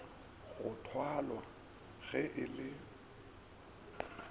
go thwalwa ge e le